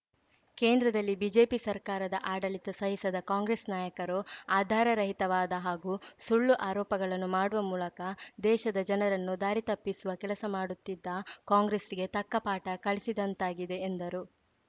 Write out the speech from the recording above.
ಕೇಂದ್ರದಲ್ಲಿ ಬಿಜೆಪಿ ಸರ್ಕಾರದ ಆಡಳಿತ ಸಹಿಸದ ಕಾಂಗ್ರೆಸ್‌ ನಾಯಕರು ಆಧಾರರಹಿತವಾದ ಹಾಗೂ ಸುಳ್ಳು ಆರೋಪಗಳನ್ನು ಮಾಡುವ ಮೂಲಕ ದೇಶದ ಜನರನ್ನು ದಾರಿತಪ್ಪಿಸುವ ಕೆಲಸ ಮಾಡುತ್ತಿದ್ದ ಕಾಂಗ್ರೆಸ್‌ಗೆ ತಕ್ಕ ಪಾಠ ಕಲಿಸಿದಂತಾಗಿದೆ ಎಂದರು